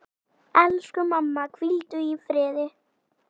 Elsku mamma, hvíldu í friði.